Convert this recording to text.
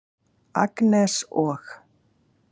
Agnes og